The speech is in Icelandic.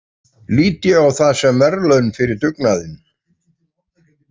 Lít ég á það sem verðlaun fyrir dugnaðinn.